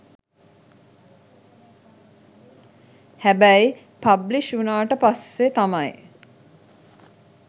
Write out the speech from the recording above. හැබැයි පබ්ලිෂ් වුනාට පස්සේ තමයි